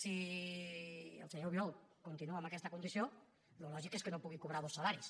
si el senyor albiol continua amb aquesta condició el lògic és que no pugui cobrar dos salaris